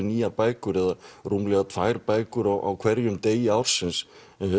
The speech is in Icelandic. nýjar bækur eða rúmlega tvær bækur á hverjum degi ársins